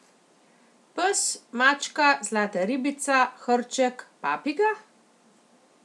Pes, mačka, zlata ribica, hrček, papiga?